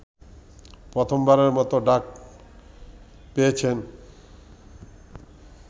প্রথমবারের মতো ডাক পেয়েছেন